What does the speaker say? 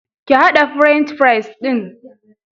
Ki haɗa French fries ɗin.